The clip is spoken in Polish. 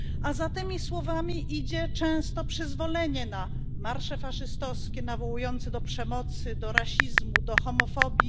A za tymi słowami idzie często przyzwolenie na marsze faszystowskie nawołujące do przemocy, do rasizmu, do homofobii.